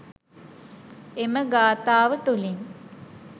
එම ගාථාව තුළින්